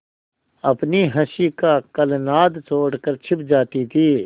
अपनी हँसी का कलनाद छोड़कर छिप जाती थीं